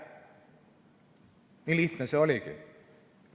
Nii lihtne see oligi.